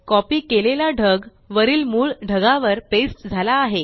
copy केलेला ढग वरील मूळ ढगावर पेस्ट झाला आहे